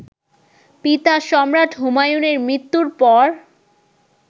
পিতা, সম্রাট হুমায়ুনের মৃত্যুর পর